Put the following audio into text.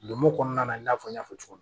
Lonmo kɔnɔna na i n'a fɔ n y'a fɔ cogo min